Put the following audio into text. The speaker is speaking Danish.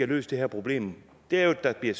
løst det her problem er jo at der bliver